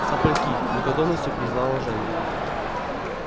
сопляки с готовностью признала женя